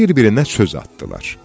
Bir-birinə söz atdılar.